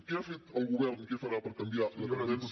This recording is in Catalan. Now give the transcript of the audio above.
què ha fet el govern i què farà per canviar la tendència